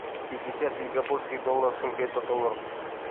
пятьдесят сингапурских долларов сколько это долларов